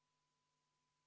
Rõõm teid näha jälle!